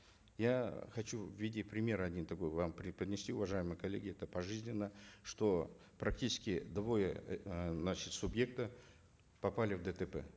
я хочу в виде примера один такой вам преподнести уважаемые коллеги это пожизненно что практически двое э значит субъектов попали в дтп